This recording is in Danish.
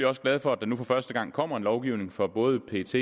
også glade for at der nu for første gang kommer en lovgivning for både pets